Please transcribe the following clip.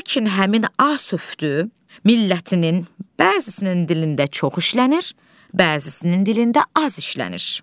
Və lakin həmin A sövdü millətinin bəzisnin dilində çox işlənir, bəzisnin dilində az işlənir.